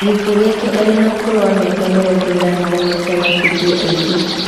Gĩkuo gĩake arĩ na ũkũrũ wa mĩaka mĩrongo-ĩna na ũmwe nĩ kĩmakĩtie aingĩ.